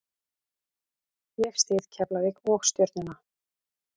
Ég styð Keflavík og Stjörnuna.